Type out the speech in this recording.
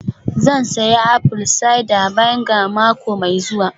Zan sayi apple cider vinegar mako mai zuwa